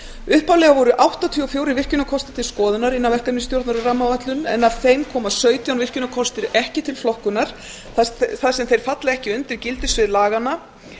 upphaflega voru áttatíu og fjögur virkjunarkostir til skoðunar innan verkefnisstjórnar um rammaáætlun en af þeim koma sautján virkjunarkostir ekki til flokkunar þar sem þeir falla ekki undir gildissvið laganna